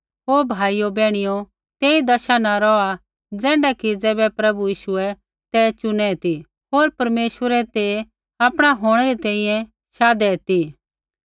ओ भाइयो बैहणियो तेई दशा न रौहा ज़ैण्ढा कि ज़ैबै प्रभु यीशुऐ ते चुनै ती होर परमेश्वरै ते आपणा होंणै री तैंईंयैं शाधु ता